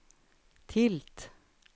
tilt